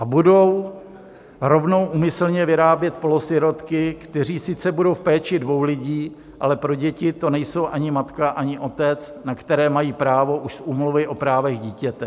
A budou rovnou úmyslně vyrábět polosirotky, kteří sice budou v péči dvou lidí, ale pro děti to nejsou ani matka, ani otec, na které mají právo už z Úmluvy o právech dítěte.